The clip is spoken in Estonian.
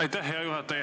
Aitäh, hea juhataja!